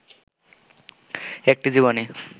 একটি জীবনী